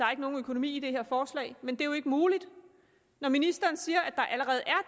er nogen økonomi i det her forslag men det er jo ikke muligt når ministeren siger